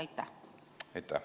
Aitäh!